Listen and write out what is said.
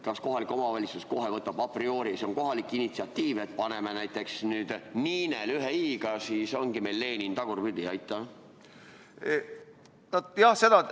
Kas kohalik omavalitsus kohe võtab a priori, et see on kohalik initsiatiiv, paneme näiteks Ninel, ühe i-ga, siis ongi meil Lenin tagurpidi?